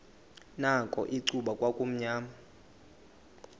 nakho icuba kwakumnyama